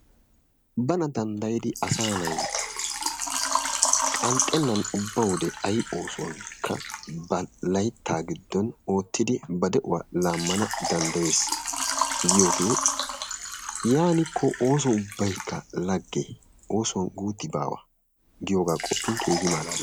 Bana danddayidi asa nay qanxxenan ubba wode laytta giddon oottiidi ba de'uwaa laammana danddayees giyoogee yaanikko ooso ubbaykka lagge, oosuwan guutti baawa giyooga qoppin keehi malaalees.